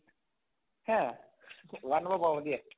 হে? one ৰ পৰা পঢ়াব দিয়ে?